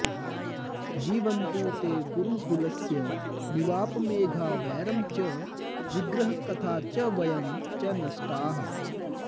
जीवन्तु ते कुरुकुलस्य निवापमेघा वैरं च विग्रहकथा च वयं च नष्टाः